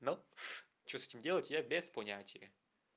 ну что с этим делать я без понятия